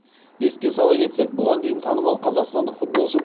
еске сала кетсек бұған дейін танымал қазақстандық футболшы